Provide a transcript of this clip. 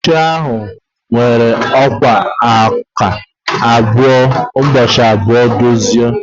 Oche ahụ were ọkwá nkà ụbọchị abụọ dozie.